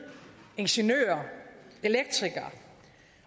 ingeniører elektrikere